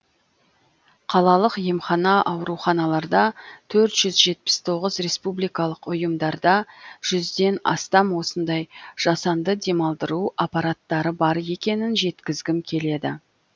қалалық емхана ауруханаларда төрт жүз жетпіс тоғыз республикалық ұйымдарда жүзден астам осындай жасанды демалдыру аппараттары бар екенін жеткізгім келеді